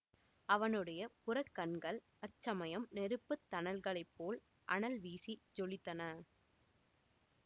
அவனுடைய புறக்கண்கள் அச்சமயம் நெருப்பு தணல்களைப் போல் அனல்வீசி ஜொலித்தன